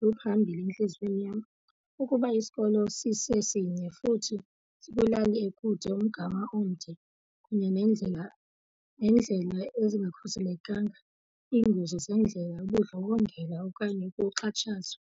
luphambile entliziyweni yam. Ukuba isikolo sisesinye futhi sikwilali ekude, umgama omde, kunye nendlela neendlela ezingakhuselekanga, iingozi zeendlela, ubundlobongela okanye ukuxatshazwa